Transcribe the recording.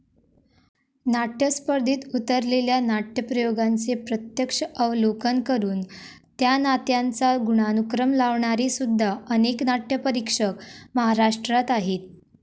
नाट्यस्पर्धेत उतरलेल्या नाट्यप्रयोगांचे प्रत्यक्ष अवलोकन करून त्या नात्यांचा गुणानुक्रम लावणारेसुद्धा अनेक नाट्यपरीक्षक महाराष्ट्रात आहेत.